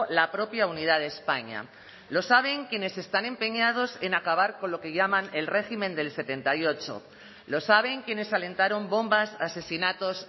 la propia unidad de españa lo saben quienes están empeñados en acabar con lo que llaman el régimen del setenta y ocho lo saben quienes alentaron bombas asesinatos